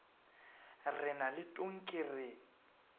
re na le tonki re